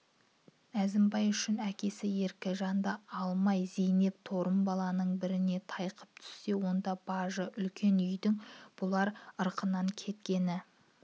әзімбай үшін әкесі еркежанды алмай зейнеп торымбаланың біріне тайқып түссе онда бажы үлкен үйдің бұлар ырқынан кеткені